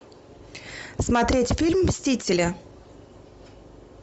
смотреть фильм мстители